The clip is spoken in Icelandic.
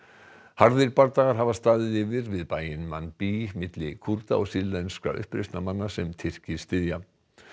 harðir bardagar hafa staðið yfir við bæinn Manbij milli Kúrda og sýrlenskra uppreisnarmanna sem Tyrkir styðja